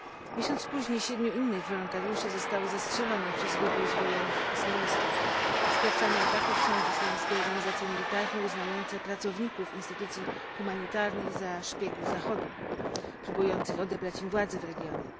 Miesiąc później siedmiu innych wolontariuszy zostało zastrzelonych przez grupę uzbrojonych islamistów. Sprawcami ataków są islamskie organizacjami militarne, uznające pracowników instytucji humanitarnych za szpiegów Zachodu, próbujących odebrać im władzę w regionie.